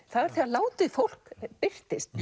það er þegar látið fólk birtist